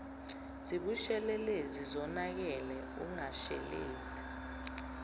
zibushelelezi zonakele ungashelela